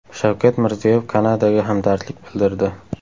Shavkat Mirziyoyev Kanadaga hamdardlik bildirdi.